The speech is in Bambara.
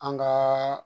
An gaa